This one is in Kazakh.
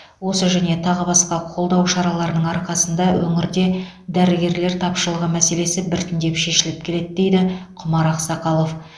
осы және тағы басқа қолдау шараларының арқасында өңірде дәрігерлер тапшылығы мәселесі біртіндеп шешіліп келеді дейді құмар ақсақалов